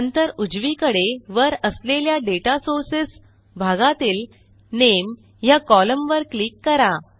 नंतर उजवीकडे वर असलेल्या डेटा सोर्सेस भागातील नामे ह्या कोलम्न वर क्लिक करा